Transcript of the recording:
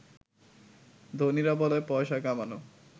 ধনীরা বলে পয়সা কামানো